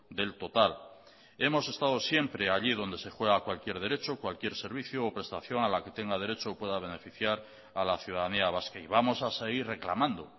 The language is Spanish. del total hemos estado siempre allí donde se juega cualquier derecho cualquier servicio o prestación a la que tenga derecho o pueda beneficiar a la ciudadanía vasca y vamos a seguir reclamando